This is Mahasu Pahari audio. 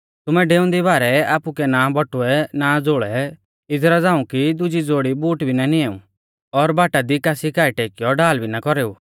तुमै डेऊंदी बारै आपुकै ना बटुऐ ना झ़ोल़ै इदरा झ़ांऊ कि दुजी ज़ोड़ी बूट भी ना निऐऊ और बाटा दी कासी काऐ टेकियौ ढाल भी ना कौरेऊ